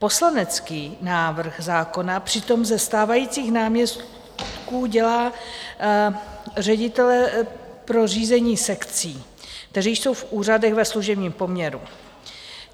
Poslanecký návrh zákona přitom ze stávajících náměstků dělá ředitele pro řízení sekcí, kteří jsou v úřadech ve služebním poměru.